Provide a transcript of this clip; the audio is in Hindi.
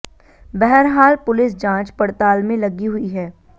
बहरहाल पुलिस जांच प़डताल में लगी हुई है